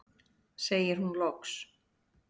segir hún loks.